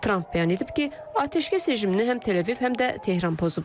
Tramp bəyan edib ki, atəşkəs rejimini həm Tel-Əviv, həm də Tehran pozub.